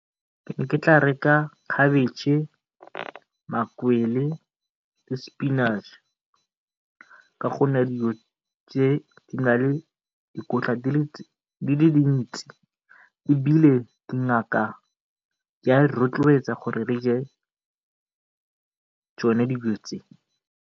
Ke be ke tla reka cabbage, makwele, le spinach-e ka gonne dilo tse di na le dikotla di le dintsi ebile dingaka di a re rotloetsa gore re je tsone dijo tse.